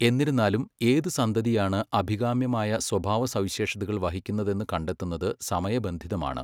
എന്നിരുന്നാലും, ഏത് സന്തതിയാണ് അഭികാമ്യമായ സ്വഭാവസവിശേഷതകൾ വഹിക്കുന്നതെന്ന് കണ്ടെത്തുന്നത് സമയബന്ധിതമാണ്.